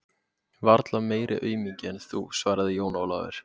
Varla meiri aumingi en þú, svaraði Jón Ólafur.